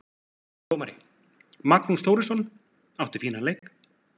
Dómari: Magnús Þórisson, átti fínan leik.